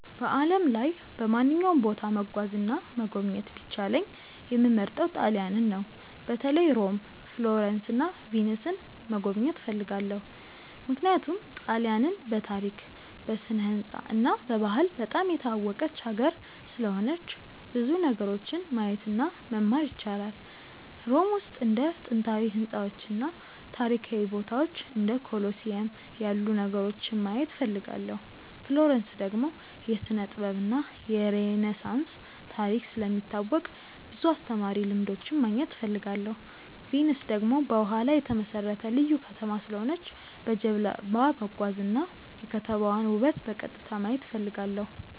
በዓለም ላይ በማንኛውም ቦታ መጓዝ እና መጎብኘት ቢቻለኝ የምመርጠው ጣሊያንን ነው። በተለይ ሮም፣ ፍሎረንስ እና ቪንስን መጎብኘት እፈልጋለሁ። ምክንያቱም ጣሊያንን በታሪክ፣ በስነ-ሕንፃ እና በባህል በጣም የታወቀች ሀገር ስለሆነች ብዙ ነገሮችን ማየት እና መማር ይቻላል። ሮም ውስጥ እንደ ጥንታዊ ሕንፃዎች እና ታሪካዊ ቦታዎች እንደ ኮሎሲየም ያሉ ነገሮችን ማየት እፈልጋለሁ። ፍሎረንስ ደግሞ የስነ-ጥበብ እና የሬነሳንስ ታሪክ ስለሚታወቅ ብዙ አስተማሪ ልምዶች ማግኘት እፈልጋለሁ። ቪንስ ደግሞ በውሃ ላይ የተመሠረተ ልዩ ከተማ ስለሆነች በጀልባ መጓዝ እና የከተማዋን ውበት በቀጥታ ማየት እፈልጋለሁ።